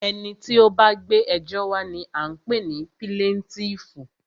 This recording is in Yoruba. Ẹni tí o bá gbé ẹjọ́ wa ní a ń pé ní píláǹtìífú.